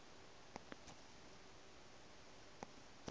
o na le mahla bi